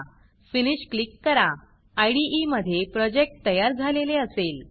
finish finish click कराIDE मधे project तयार झालेले असेल